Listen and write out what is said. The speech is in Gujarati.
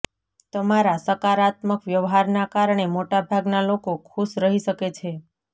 તમારા સકારાત્મક વ્યવહારના કારણે મોટાભાગના લોકો ખુશ રહી શકે છે